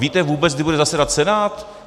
Víte vůbec, kdy bude zasedat Senát?